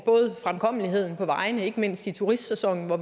fremkommeligheden på vejene forringes ikke mindst i turistsæsonen hvor